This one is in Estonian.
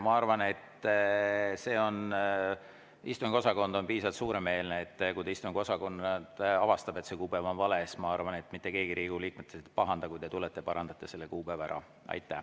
Ma arvan, et istungiosakond on piisavalt suuremeelne, et kui istungiosakond avastab, et see kuupäev on vale, siis ma arvan, et mitte keegi Riigikogu liikmetest ei pahanda, kui te tulete ja parandate selle kuupäeva ära.